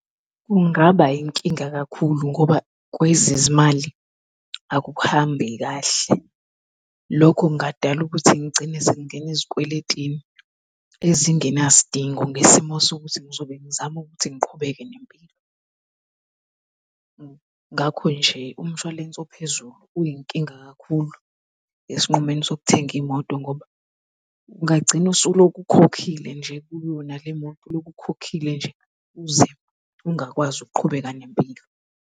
Kungaba yinkinga kakhulu ngoba kwezezimali akuhambi kahle. Lokhu kungadala ukuthi ngigcine sengingena ezikweletini ezingenasidingo ngesimo sokuthi ngizobe ngizama ukuthi ngiqhubeke nempilo. Ngakho nje umshwalense ophezulu uyinkinga kakhulu esinqumeni sokuthenga imoto ngoba ungagcina usuloke ukhokhile nje kuyona le moto uloke ukhokhile nje uze ungakwazi ukuqhubeka nempilo.